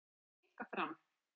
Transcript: Sjónarmið Geirs komi líka fram